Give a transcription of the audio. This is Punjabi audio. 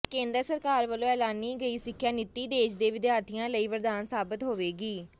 ਕੇਂਦਰ ਸਰਕਾਰ ਵੱਲੋਂ ਐਲਾਨੀ ਗਈ ਸਿੱਖਿਆ ਨੀਤੀ ਦੇਸ਼ ਦੇ ਵਿਦਿਆਰਥੀਆਂ ਲਈ ਵਰਦਾਨ ਸਾਬਤ ਹੋਵੇਗੀ